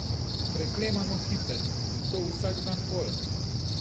Preklemano hiter, in to vsak dan bolj.